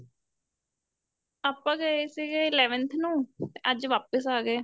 ਆਪਾਂ ਗਏ ਸੀਗੇ eleventh ਨੂੰ ਤੇ ਅੱਜ ਵਾਪਿਸ ਆ ਗਏ